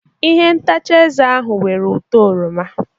Ihe ntacha eze ahụ nwere ụtọ oroma.